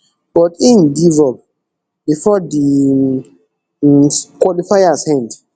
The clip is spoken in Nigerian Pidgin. but im give up bifor di um qualifiers end